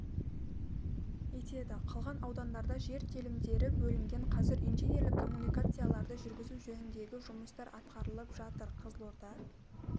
етеді қалған аудандарда жер телімдері бөлінген қазір инженерлік коммуникацияларды жүргізу жөніндегі жұмыстар атқарылып жатыр қызылорда